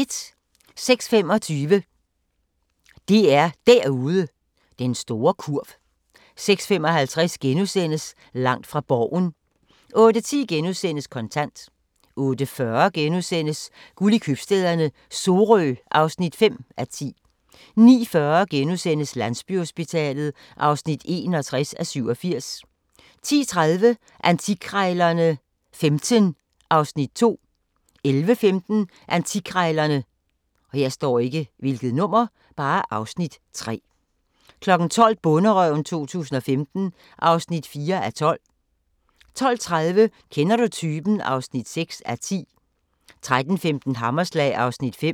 06:25: DR Derude: "Den store kurv" 06:55: Langt fra Borgen * 08:10: Kontant * 08:40: Guld i købstæderne - Sorø (5:10)* 09:40: Landsbyhospitalet (61:87)* 10:30: Antikkrejlerne XV (Afs. 2) 11:15: Antikkrejlerne (Afs. 3) 12:00: Bonderøven 2015 (4:12) 12:30: Kender du typen? (6:10) 13:15: Hammerslag (Afs. 5)